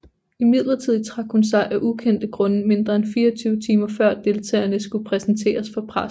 Imidlertid trak hun sig af ukendte grunde mindre end 24 timer før deltagerne skulle præsenteres for pressen